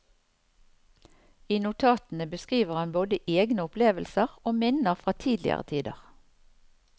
I notatene beskriver han både egne opplevelser og minner fra tidligere tider.